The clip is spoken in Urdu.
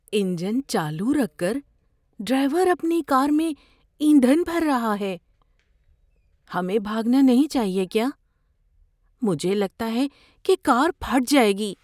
انجن چالو رکھ کر ڈرائیور اپنی کار میں ایندھن بھر رہا ہے۔ ہمیں بھاگنا نہیں چاہیے کیا؟ مجھے لگتا ہے کہ کار پھٹ جائے گی۔